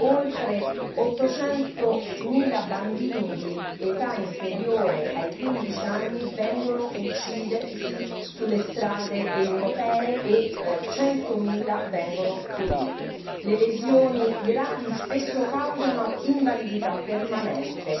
oltre 800 mila bambini di età inferiore ai 15 anni vengono uccisi sulle strade europee e 100 mila rimangono feriti e le lesioni gravi spesso causano invalidità permanente.